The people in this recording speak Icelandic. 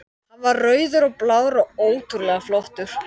Hann var rauður og blár og ótrúlega flottur.